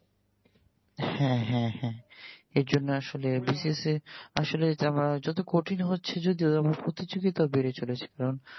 হ্যা হ্যা হ্যা এইজন্য আসলে BCS এ আসলে এইটা আমার যত কঠিন হচ্ছে যদিও প্রতিযোগিতা বেড়ে চলেছে কারণ